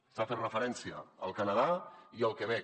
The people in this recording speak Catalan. s’ha fet referència al canadà i al quebec